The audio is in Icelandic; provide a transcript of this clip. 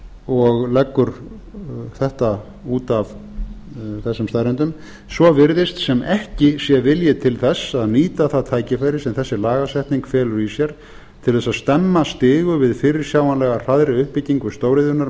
og leggur þetta út af þessum staðreyndum svo virðist sem ekki sé vilji til þess að nýta það tækifæri sem þessi lagasetning felur í sér til þess að stemma stigu við fyrirsjáanlega hraðri uppbyggingu stóriðjunnar